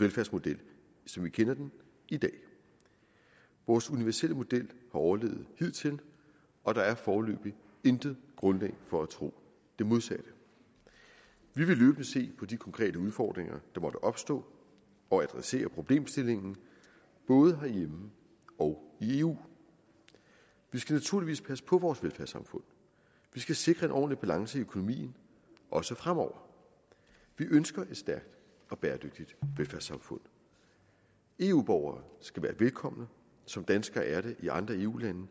velfærdsmodel som vi kender den i dag vores universelle model har overlevet hidtil og der er foreløbig intet grundlag for at tro det modsatte vi vil løbende se på de konkrete udfordringer der måtte opstå og adressere problemstillingen både herhjemme og i eu vi skal naturligvis passe på vores velfærdssamfund vi skal sikre en ordentlig balance i økonomien også fremover vi ønsker et stærkt og bæredygtigt velfærdssamfund eu borgere skal være velkomne som danskere er det i andre eu lande